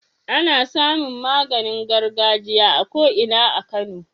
Ana samin maganin gargajiya a ko Ina a kano